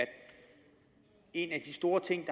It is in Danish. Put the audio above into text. en af de store ting